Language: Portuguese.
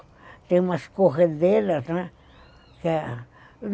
Tem umas corredeiras, né?